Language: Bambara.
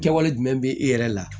Kɛwale jumɛn bɛ e yɛrɛ la